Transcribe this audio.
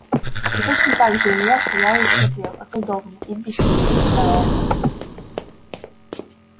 и точно так же илья стоял и смотрел околдованный и бессильный на это